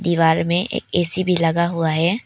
दीवार में ए_सी भी लगा हुआ है।